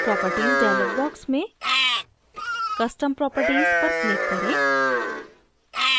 properties dialog box में custom properties पर click करें